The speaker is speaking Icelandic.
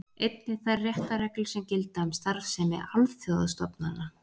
Einnig þær réttarreglur sem gilda um starfsemi alþjóðastofnana.